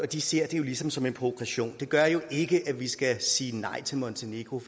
de ser det jo ligesom som en provokation det gør jo ikke at vi skal sige nej til montenegro